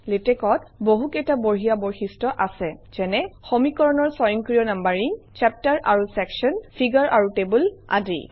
লেটেক্সত বহুকেইটা বঢ়িয়া বৈশিষ্ট্য আছে যেনে - সমীকৰণৰ স্বয়ংক্ৰিয় নাম্বাৰিং চেপ্টাৰ আৰু চেকশ্যন ফিগাৰ আৰু টেবুল আদি